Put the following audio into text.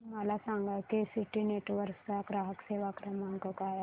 मला सांगा की सिटी नेटवर्क्स चा ग्राहक सेवा क्रमांक काय आहे